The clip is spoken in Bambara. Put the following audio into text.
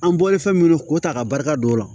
An bɔlen fɛn minnu ko ta ka barika don o la